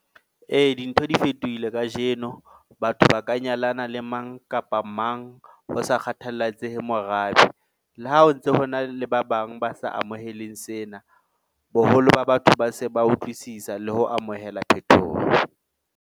Ee, dintho di fetohile kajeno, batho ba ka nyalana le mang kapa mang ho sa kgathallatsehe morabe le ha o ntse hona le ba bang ba sa amohelweng sena, boholo ba batho ba se ba utlwisisa le ho amohela phethoho .